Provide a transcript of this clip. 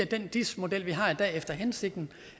den dis model vi har i dag virker efter hensigten